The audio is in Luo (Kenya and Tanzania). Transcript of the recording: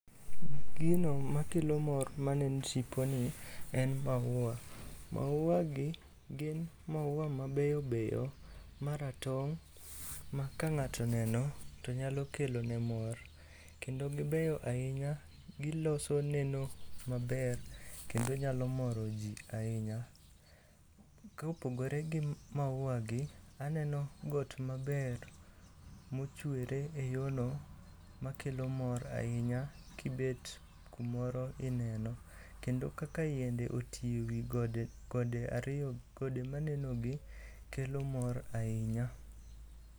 Gino makelo mor maneno itiponi en maua. Mauagi gin maua mabeyo beyo maratong' ma kang'ato oneno to nyalo kelone mor kendo gibeyo ahinya giloso neno maber kendo nyalo moro ji ahinya. Kopogore gi maua gi, aneno got maber mochwere e yono makelo mor ahinya kibet kumoro ineno kendo kaka yiende oti e wi gode manenogi kelo mor ahinya.